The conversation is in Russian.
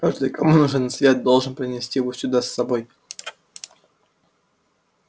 каждый кому нужен свет должен принести его сюда с собой